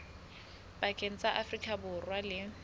pakeng tsa afrika borwa le